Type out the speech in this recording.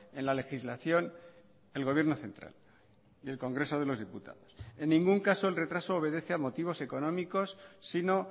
en la legislación el gobierno central y el congreso de los diputados en ningún caso el retraso obedece a motivos económicos sino